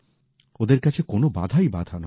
ওদের কাছে কোনো বাধাই বাধা নয়